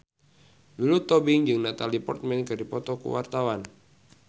Lulu Tobing jeung Natalie Portman keur dipoto ku wartawan